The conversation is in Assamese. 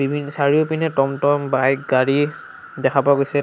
উইন চাৰিওপিনে টমটম বাইক গাড়ী দেখা পোৱা গৈছে।